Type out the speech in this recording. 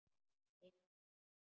Eina nótt.